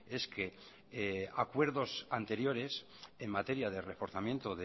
es que acuerdos anteriores en materia de reforzamiento